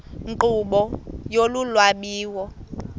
nkqubo yolu lwabiwo